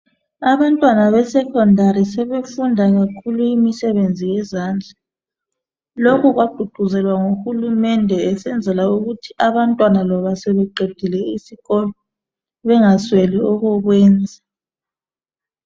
Abantwana be Secondary sebefunda kakhulu imisebenzi yezandla lokhu kwagqugquzelwa nguhulumende esenzela ukuthi abantwana loba sebeqedile isikolo bengasweli okokwenza